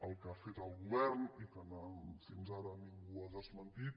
el que ha fet el govern i que fins ara ningú ha desmentit